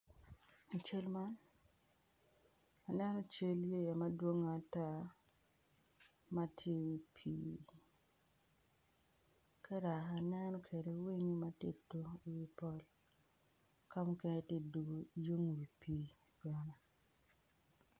I cal ma waneno cal yeya madwongo ata ma tye i pii ka dok aneno winyo ma tye ka tuk i wi pol ka mukene tye ka tuko i wi pii.